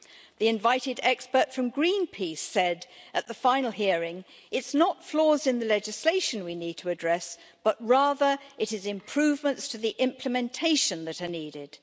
The invited expert from Greenpeace said at the final hearing that it's not flaws in the legislation that we need to address, but rather it is improvements to the implementation that are needed.